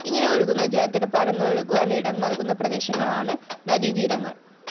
ഇങ്ങനെ ഒഴുകുന്ന ജലത്തിന് പരന്നൊഴുകുവാന്‍ ഇടംനല്‍കുന്ന പ്രദേശങ്ങളാണ് നദീതീരങ്ങള്‍